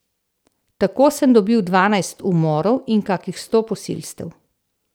Tako sem dobil dvanajst umorov in kakih sto posilstev.